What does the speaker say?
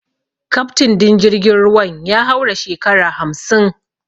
Kaftin din jirgin ruwan ya haura shekara hamsin.